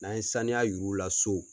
N'an ye sanuya yir'u la so